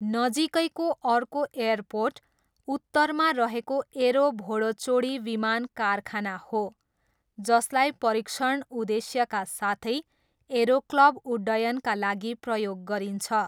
नजिकैको अर्को एयरपोर्ट उत्तरमा रहेको एरो भोडोचोडी विमान कारखाना हो, जसलाई परीक्षण उद्देश्यका साथै एरोक्लब उड्डयनका लागि प्रयोग गरिन्छ।